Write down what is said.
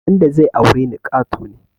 Wanda zai aure ni ƙato ne